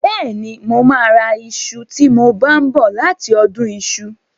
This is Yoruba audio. Bẹ́ẹ̀ni, mo máa ra iṣu tí mo bá ń bọ̀ láti ọdún iṣu.